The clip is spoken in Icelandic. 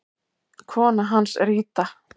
Kona hans er Ida.